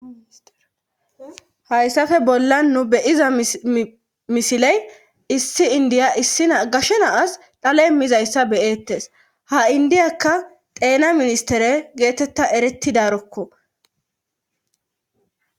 hayssafe bolla nu beyiza misiley issi indiya issi gashena as dhale mizayssa beyettes ha indiyaka deena ministere geetetta erettidarokko